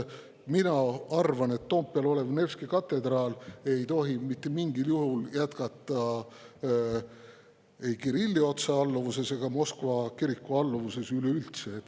Mina arvan, et Toompeal olev Nevski katedraal ei tohi mitte mingil juhul jätkata ei Kirilli otsealluvuses ega Moskva kiriku alluvuses üleüldse.